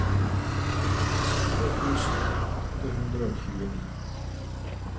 tre tusen åtte hundre og tjueni